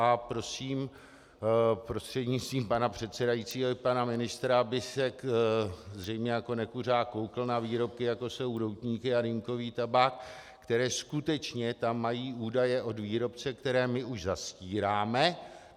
A prosím prostřednictvím pana předsedajícího i pana ministra, aby se zřejmě jako nekuřák koukl na výrobky, jako jsou doutníky a dýmkový tabák, které skutečně tam mají údaje od výrobce, které my už zastíráme.